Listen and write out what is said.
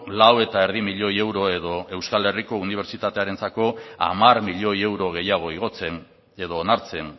lau eta erdi milioi euro edo euskal herriko unibertsitatearentzako hamar milioi euro gehiago igotzen edo onartzen